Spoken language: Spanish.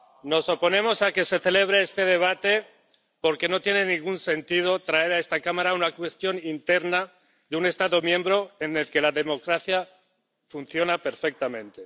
Nos oponemos a que se celebre este debate porque no tiene ningún sentido traer a esta Cámara una cuestión interna de un Estado miembro en el que la democracia funciona perfectamente.